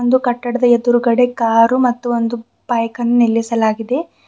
ಒಂದು ಕಟ್ಟಡದ ಎದುರುಗಡೆ ಕಾರು ಮತ್ತು ಒಂದು ಬೈಕ್ ಅನ್ನು ನಿಲ್ಲಿಸಲಾಗಿದೆ.